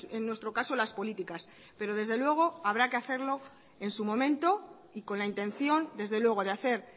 en nuestro caso las políticas pero desde luego habrá que hacerlo en su momento y con la intención desde luego de hacer